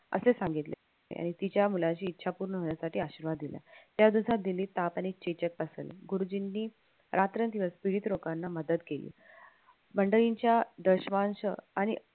असे सांगितले यांनी तिच्या मूलाची इच्छा पूर्ण होण्यासाठी आशीर्वाद दिला. या दिवसात दिल्लीत गुरुजींनी रात्रंदिवस लोकांना मदत केली आणि